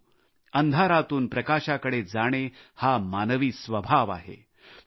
परंतु अंधारातून प्रकाशाकडे जाणे हा मानवी स्वभाव आहे